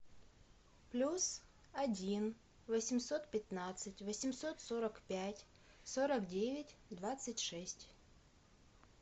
плюс один восемьсот пятнадцать восемьсот сорок пять сорок девять двадцать шесть